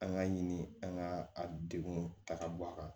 An ka ɲini an ka a degun ta ka bɔ a kan